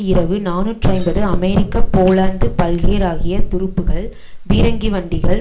இரவு நாநூற்று ஐம்பது அமெரிக்க போலந்து பல்கேராகியத் துருப்புகள் பீரங்கிவண்டிகள்